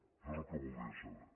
això és el que voldria saber